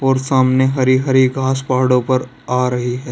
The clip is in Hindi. और सामने हरी हरी घास पहाड़ों पर आ रही है।